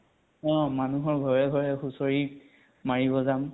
অ। মানুহ ঘৰে ঘৰে হুচৰি, মাৰিব যাম ।